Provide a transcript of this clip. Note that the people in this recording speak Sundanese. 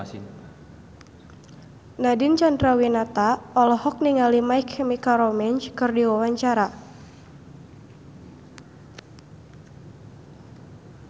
Nadine Chandrawinata olohok ningali My Chemical Romance keur diwawancara